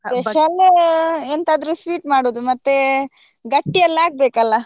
Special ಎಂತಾದ್ರೂ sweet ಮಾಡುದು ಮತ್ತೆ ಗಟ್ಟಿ ಎಲ್ಲ ಆಗ್ಬೇಕು ಅಲ್ಲಾ.